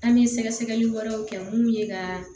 An bɛ sɛgɛsɛgɛli wɛrɛw kɛ mun ye ka